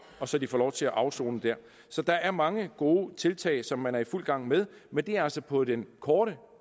så de kan få lov til at afsone der så der er mange gode tiltag som man er i fuld gang med men det er altså på den korte